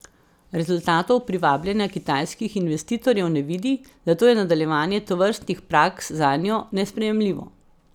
Rezultatov privabljanja kitajskih investitorjev ne vidi, zato je nadaljevanje tovrstnih praks zanjo nesprejemljivo.